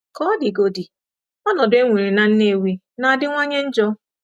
Ka ọ dịgodị, ọnọdụ e nwere na Nnewi na-adịwanye njọ.